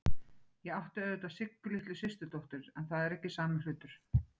Ég átti auðvitað Siggu litlu systurdóttur, en það er ekki sami hlutur.